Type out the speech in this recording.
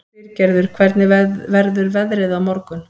Styrgerður, hvernig verður veðrið á morgun?